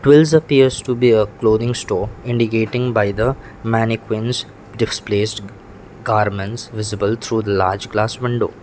twills appears to be a clothing store indicating by the mannequins displaced garments visible through the large glass window.